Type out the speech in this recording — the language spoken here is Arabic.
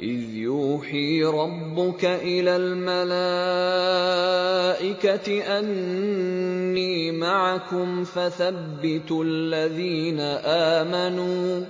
إِذْ يُوحِي رَبُّكَ إِلَى الْمَلَائِكَةِ أَنِّي مَعَكُمْ فَثَبِّتُوا الَّذِينَ آمَنُوا ۚ